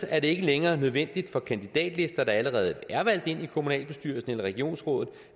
er det ikke længere nødvendigt for kandidatlister der allerede er valgt ind i kommunalbestyrelsen eller regionsrådet